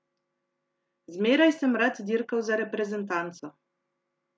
Zmeraj sem rad dirkal za reprezentanco.